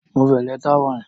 Mu veleta wine.